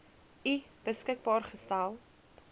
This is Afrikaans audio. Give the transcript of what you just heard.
u beskikbaar gestel